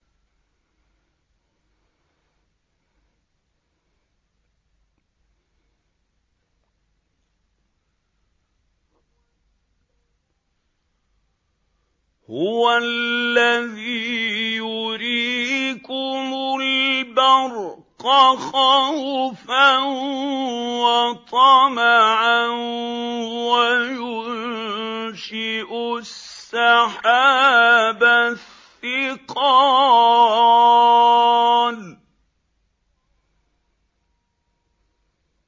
هُوَ الَّذِي يُرِيكُمُ الْبَرْقَ خَوْفًا وَطَمَعًا وَيُنشِئُ السَّحَابَ الثِّقَالَ